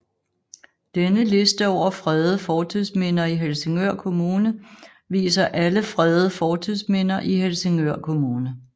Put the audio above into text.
Denne liste over fredede fortidsminder i Helsingør Kommune viser alle fredede fortidsminder i Helsingør Kommune